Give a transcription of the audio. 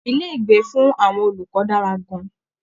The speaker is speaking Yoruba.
Ilé-ìgbé fún àwọn olùkọ́ dára gan-an